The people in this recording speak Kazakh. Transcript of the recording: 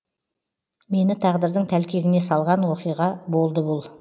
мені тағдырдың тәлкегіне салған уақиға болды бұл